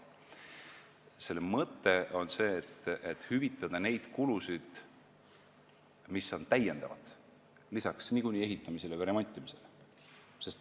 Selle mõte on hüvitada neid kulusid, mis tekivad lisaks ehitamisele või remontimisele.